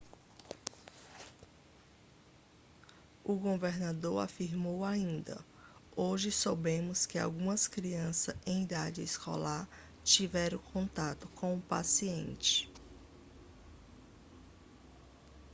o governador afirmou ainda hoje soubemos que algumas crianças em idade escolar tiveram contato com o paciente